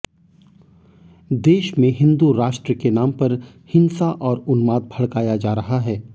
देश में हिंदू राष्ट्र के नाम पर हिंसा और उन्माद भड़काया जा रहा है